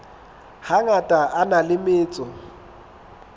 hangata a na le metso